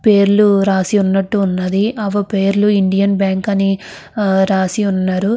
పేర్లు రాసి ఉన్నట్టు ఉన్నది ఆ పేర్లు ఇండియన్ బ్యాంకు అని రాసి వున్నది.